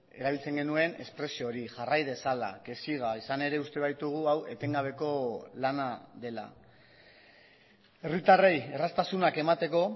erabiltzen genuen espresio hori jarrai dezala que siga izan ere uste baitugu hau etengabeko lana dela herritarrei erraztasunak emateko